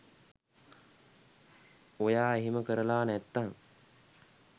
ඔයා එහෙම කරලා නැත්තං